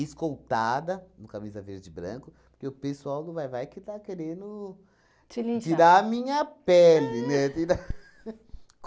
escoltada no Camisa Verde e Branco, porque o pessoal do Vai-Vai que está querendo tirar a minha pele, né? Tirar